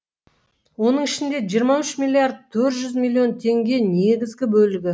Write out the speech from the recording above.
оның ішінде жиырма үш миллиард тқрт жүз миллион теңге негізгі бөлігі